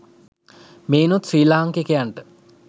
මෙයිනුත් ශ්‍රී ලාංකිකයිනට